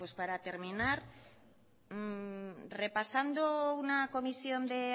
para terminar repasando una comisión de